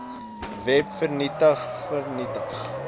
web vernietig vernietig